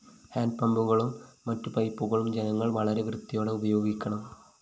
ഹാന്‍ഡ്പമ്പുകളും മറ്റു പൈപ്പുകളും ജനങ്ങള്‍ വളരെ വൃത്തിയോടെ ഉപയോഗിക്കണം